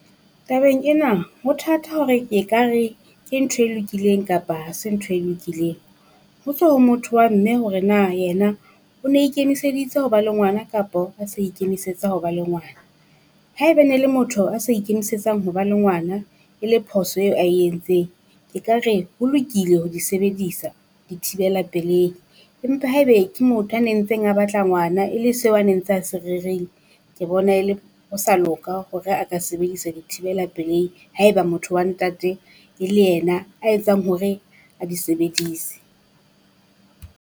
Tabeng ena ho thatha hore ke ka re ke ntho e lokileng kapa ha se ntho e lokileng. Ho tswa ho motho wa mme hore na ena o ne ikemiseditse ho ba le ngwana, kapo a sa ikemisetsa ho ba le ngwana. Haeba ne le motho a sa ikemisetsang ho ba le ngwana e le phoso eo ae entseng ke ka re ho lokile ho di sebedisa di thibela pelehi. Empa haebe ke motho a nentseng a batla ngwana e le seo a neng tse a se rerile ke bona ele ho sa loka hore a ka sebedisa di thibela pelehi haeba motho wa ntate e le ena a etsang hore a di sebedise.